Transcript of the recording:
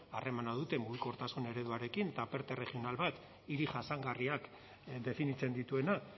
harremana duten mugikortasun ereduarekin eta perte regional bat hiri jasangarriak definitzen dituena